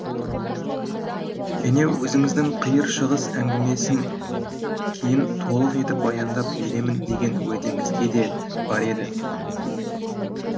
және өзіңіздің қиыр шығыс әңгімесін кейін толық етіп баяндап беремін деген уәдеңізге де бар еді